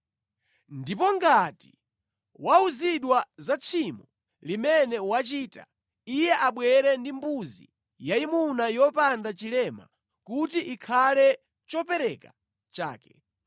Ndipo ngati wauzidwa za tchimo limene wachita, iye abwere ndi mbuzi yayimuna yopanda chilema kuti ikhale chopereka chake.